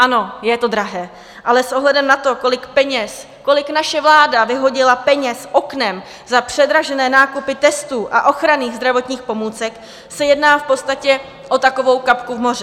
Ano, je to drahé, ale s ohledem na to, kolik peněz, kolik naše vláda vyhodila peněz oknem za předražené nákupy testů a ochranných zdravotních pomůcek, se jedná v podstatě o takovou kapku v moři.